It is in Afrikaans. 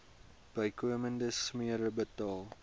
bykomende smere betaal